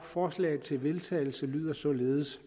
forslaget til vedtagelse lyder således